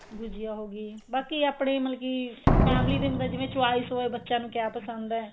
ਗੁਜੀਆ ਹੋ ਗਈ ਬਾਕੀ ਆਪਣੇ ਮਤਲਬ ਕਿ family ਦਾ ਹੁੰਦਾ ਜਿਵੇਂ choice ਬੱਚਿਆਂ ਨੂੰ ਕਿਆ ਪਸੰਦ ਏ